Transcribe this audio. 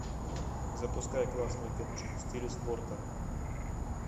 запускай классную киношку в стиле спорта